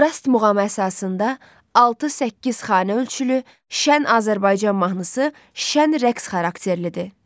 Rast muğamı əsasında 6-8 xanə ölçülü Şən Azərbaycan mahnısı şən rəqs xarakterlidir.